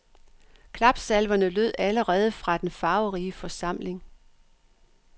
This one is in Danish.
Klapsalverne lød allerede fra den farverige forsamling.